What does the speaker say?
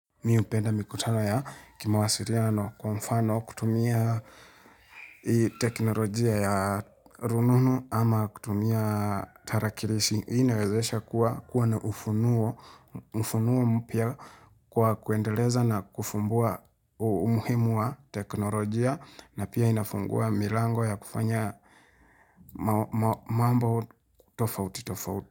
Mi hupenda mikutano ya kimawasiliano kwa mfano kutumia teknolojia ya rununu ama kutumia tarakilishi. Inawezesha kuwa na ufunuo mpya kwa kuendeleza na kufumbua umuhimu wa teknolojia na pia inafungua milango ya kufanya mambo tofauti tofauti.